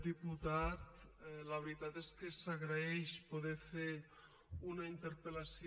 diputat la veritat és que s’agraeix poder fer una interpellació